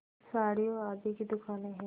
साड़ियों आदि की दुकानें हैं